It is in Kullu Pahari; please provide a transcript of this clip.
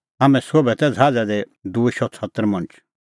हाम्हैं सोभै तै ज़हाज़ा दी दूई शौ छतर मणछ